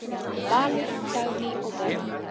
Valur, Dagný og börn.